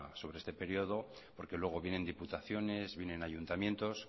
sobre este periodo porque luego vienen diputaciones vienen ayuntamientos